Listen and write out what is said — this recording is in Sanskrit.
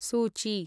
सूची